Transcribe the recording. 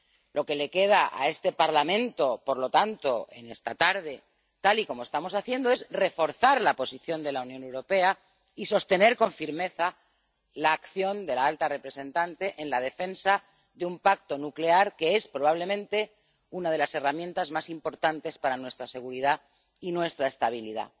Lo que le queda a este Parlamento, por lo tanto, en esta tarde, tal y como estamos haciendo, es reforzar la posición de la Unión Europea y sostener con firmeza la acción de la alta representante en la defensa de un pacto nuclear que es, probablemente, una de las herramientas más importantes para nuestra seguridad y nuestra estabilidad.